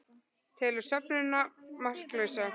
Telur söfnunina marklausa